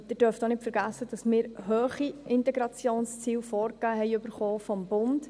Sie dürfen auch nicht vergessen, dass wir durch den Bund hohe Integrationsziele vorgegeben erhalten haben.